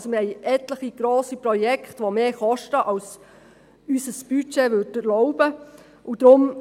Wir haben also etliche grosse Projekte, die mehr kosten, als es unser Budget erlauben würde.